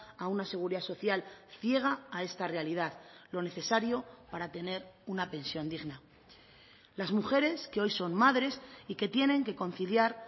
a una seguridad social ciega a esta realidad lo necesario para tener una pensión digna las mujeres que hoy son madres y que tienen que conciliar